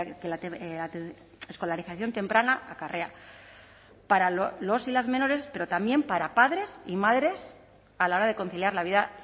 que la escolarización temprana acarrea para los y las menores pero también para padres y madres a la hora de conciliar la vida